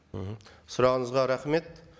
мхм сұрағыңызға рахмет